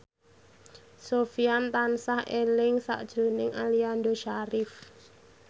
Sofyan tansah eling sakjroning Aliando Syarif